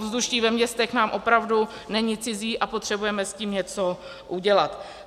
Ovzduší ve městech nám opravdu není cizí a potřebujeme s tím něco udělat.